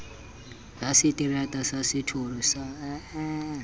ya seterata sa setoro sa